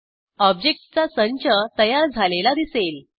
ऑब्जेक्टसचा संच तयार झालेला दिसेल